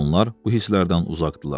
Bugün onlar bu hisslərdən uzaqdırlar.